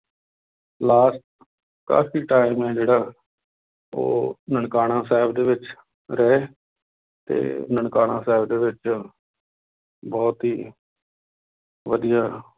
Last ਕਾਫ਼ੀ time ਹੈ ਜਿਹੜਾ ਉਹ ਨਨਕਾਣਾ ਸਾਹਿਬ ਦੇ ਵਿੱਚ ਰਹੇ, ਤੇ ਨਨਕਾਣਾ ਸਾਹਿਬ ਦੇ ਵਿੱਚ ਬਹੁਤ ਹੀ ਵਧੀਆ